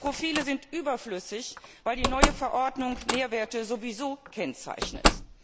Diese Profile sind überflüssig, weil die neue Verordnung Nährwerte sowieso kennzeichnet.